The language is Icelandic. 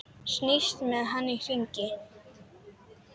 Snýst með hann í hringi.